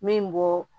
Min bɔ